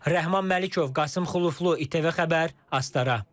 Rəhman Məlikov, Qasım Xuluflu, İTV Xəbər, Astara.